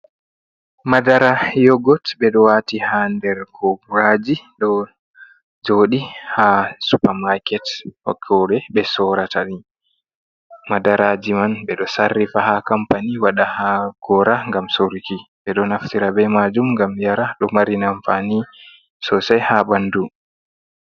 Madara yogot. Ɓe ɗo wati ha nder koboraji ɗo jodi ha supamaket nokkure ɓe sorata ɗi. Madaraji man ɓe ɗo sarrifa ha kampani waɗa ha gora gam soruki. Ɓe ɗo naftira be majum gam yara. Ɗo mari amfani sosai ha ɓandu.